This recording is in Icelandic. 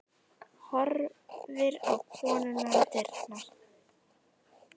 Horfir á konuna við dyrnar.